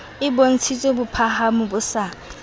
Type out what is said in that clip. e bontshitse bophahamo bo sa